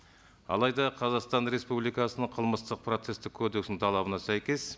алайда қазақстан республикасының қылмыстық процесстік кодексінің талабына сәйкес